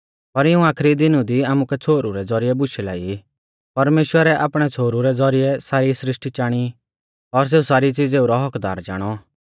पर इऊं आखरी दीनु दी आमुकु छ़ोहरु रै ज़ौरिऐ बुशै लाई परमेश्‍वरै आपणै छ़ोहरु रै ज़ौरिऐ सारी सृष्टी चाणी और सेऊ सारी चीज़ैऊ रौ हक्क्कदार चाणौ